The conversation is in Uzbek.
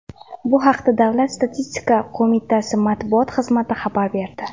Bu haqda Davlat statistika qo‘mitasi matbuot xizmati xabar berdi.